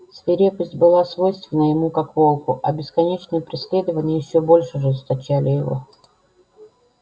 свирепость была свойственна ему как волку а бесконечные преследования ещё больше ожесточали его